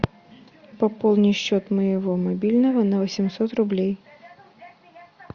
пополни счет моего мобильного на восемьсот рублей